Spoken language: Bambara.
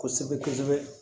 Kosɛbɛ kosɛbɛ